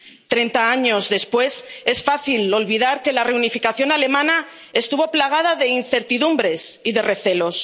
Treinta años después, es fácil olvidar que la reunificación alemana estuvo plagada de incertidumbres y de recelos.